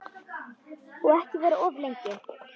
Og ekki vera of lengi.